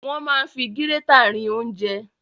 Wọ́n máa ń fi gírétà rin ounjẹ.